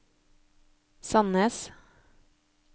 Sandnes